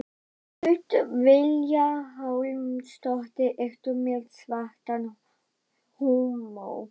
Hödd Vilhjálmsdóttir: Ertu með svartan húmor?